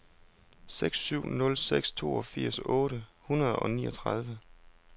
seks syv nul seks toogfirs otte hundrede og niogtredive